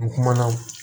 N kumana o